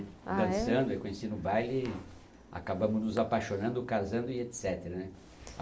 Dançando, eu conheci no baile, acabamos nos apaixonando, casando e et cetera, né?